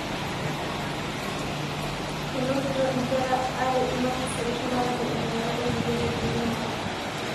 Enotito inkera are imakisi e shumata te entemata naidipieki pirimari.